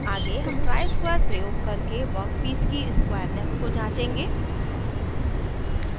आगे हम ट्राइस्क्वायर प्रयोग करके वर्कपीस की स्क्वायरनेस को जांचेंगे